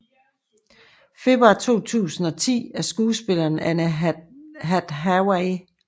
Februar 2010 af skuespilleren Anne Hathaway